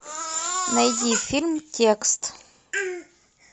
найди фильм текст